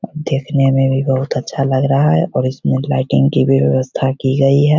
देखने मे भी बहुत अच्छा लग रहा है और इसमे लाईटिंग की भी व्यवस्था की गई हे।